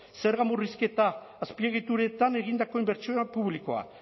zerga murrizketa azpiegituretan egindako inbertsioa publikoa